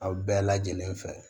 Aw bɛɛ lajɛlen fɛ